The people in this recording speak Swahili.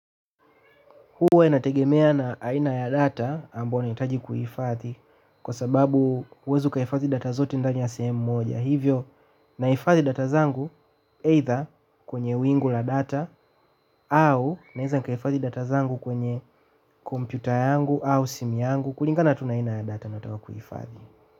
Huwa inategemea aina ya data ambayo ninahitaji kuihifadhi, kwa sababu siwezi kuifuatilia data zote ndani ya sehemu moja. Kwa hivyo nahifadhi data zangu, either kwenye wingu la data au naweza kuhifadhi data zangu kwenye kompyuta yangu au simu yangu kulingana tu na aina ya data ninayotaka kuihifadhi.